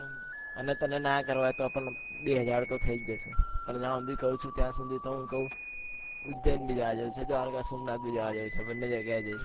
અને તને ના કરવા હોય તો પણ બે હજાર તો થઇ જ જશે પણ જ્યાં સુધી કઉ છું ત્યાં સુધી તો કઉ ઉજ્જૈન બી દ્વારકા સોમનાથ બી બને જગ્યાએ જઈશું